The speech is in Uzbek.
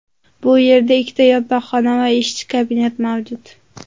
Bu yerda ikkita yotoqxona va ishchi kabinet mavjud.